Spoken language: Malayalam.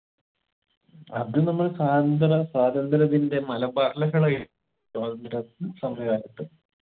അത് നമ്മൾ സ്വാതന്ത്ര്യ സ്വാതന്ത്ര്യത്തിന്റെ മലബാർ ലഹളയെ സ്വാതന്ത്ര്യ സമരകാലത്തു